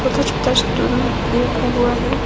छोटा छोटा स्टूल भी रखा हुआ है।